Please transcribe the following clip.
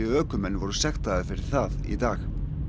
ökumenn voru sektaðir fyrir það í dag